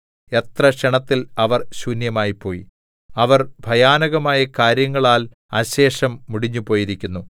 എത്ര ക്ഷണത്തിൽ അവർ ശൂന്യമായിപ്പോയി അവർ ഭയാനകമായ കാര്യങ്ങളാൽ അശേഷം മുടിഞ്ഞുപോയിരിക്കുന്നു